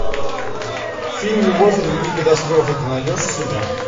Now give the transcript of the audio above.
фильм любовь и другие катастрофы ты найдешь у себя